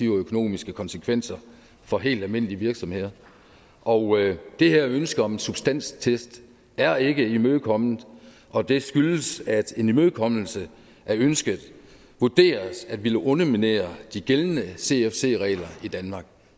økonomiske konsekvenser for helt almindelige virksomheder og det her ønske om en substanstest er ikke imødekommet og det skyldes at en imødekommelse af ønsket vurderes at ville underminere de gældende cfc regler i danmark